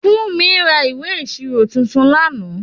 Funmi ra ìwé ìṣirò tuntun lánàá.